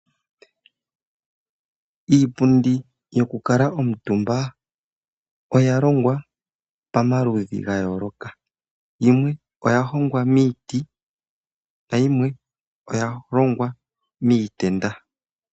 Iipundi yoku kala omutumba oya longwa pamaludhi ga yooloka. Yimwe oya hongwa miiti, nayimwe oya longwa miitenda.